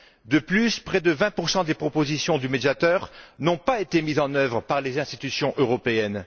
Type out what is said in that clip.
De plus, près de 20 des propositions du Médiateur n'ont pas été mises en œuvre par les institutions européennes.